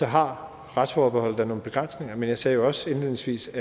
har retsforbeholdet da nogle begrænsninger men jeg sagde jo også indledningsvis